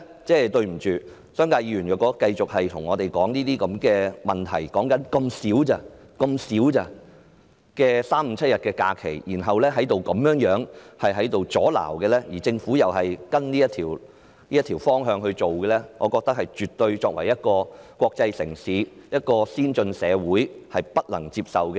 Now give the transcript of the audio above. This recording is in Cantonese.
因此，對不起，如果商界議員繼續對我們指出這些問題，說這不外乎是3、5、7日的假期，然後作出阻撓，而政府又跟從他們這種方向來處理，則我認為這些做法是國際城市、先進社會絕對不能接受的。